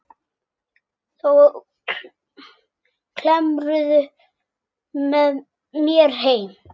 Þá kemurðu með mér heim.